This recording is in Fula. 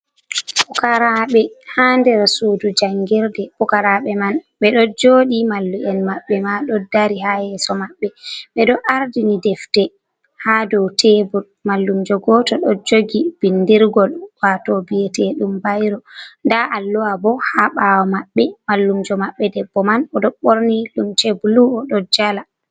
Pukaraɓe ha der sudu jangirde ,pukaraɓe man be do jodi mallu'en mabɓe ma do dari ha yeso maɓɓe, be do ardini defde ha dow tebul mallumjo goto do jogi bindirgol wato bi'ete ɗum bayro da alluwa bo ha ɓawo maɓɓe mallumjo mabɓe debbo man o do borni lumce blu o do jala.